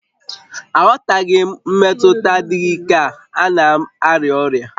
Aghọtaghị m mmetụta adịghị ike a, a na m arịa ọrịa